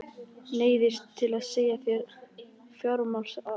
Neyðist til að segja af sér sem fjármálaráðherra.